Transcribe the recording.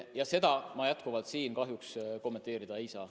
Ja seda teemat ma endiselt siin kahjuks kommenteerida ei saa.